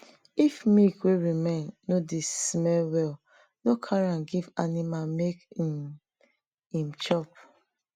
if milk wey remain no dey smell well no carry am give animal make um em chop